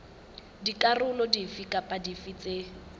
dikarolo dife kapa dife tse